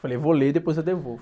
Falei, vou ler e depois eu devolvo.